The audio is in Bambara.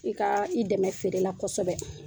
I ka i dɛmɛ feerela kosɛbɛ